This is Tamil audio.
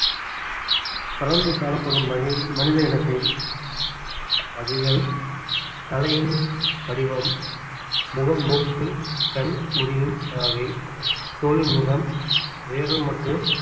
பரந்து காணப்படும் வகை~ மனித இனத்தின் வகைகள் தலையின் வடிவம் முகம் மூக்கு கண் முடியின் வகை தோலின் நிறம் உயரம் மற்றும்